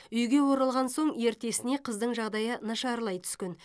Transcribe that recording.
үйге оралған соң ертесіне қыздың жағдайы нашарлай түскен